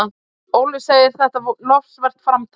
Ólöf segir þetta lofsvert framtak.